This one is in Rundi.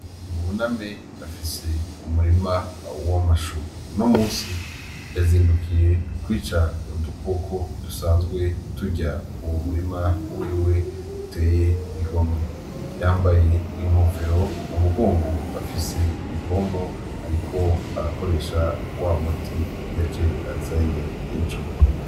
Buname afise umurima w'amashu, unomunsi yazindukiye kwica udukoko dusanzwe turya uwo murima wiwe uteye igomwe, yambaye inkofero mumugongo afise ipompo ariko arakoresha wamuti yaje azanye ejo.